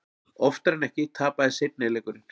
Oftar en ekki tapaðist seinni leikurinn.